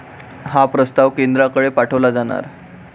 हा प्रस्ताव केंद्राकडे पाठवला जाणार